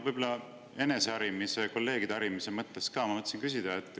Võib-olla eneseharimise ja kolleegide harimise mõttes ka ma mõtlesin küsida.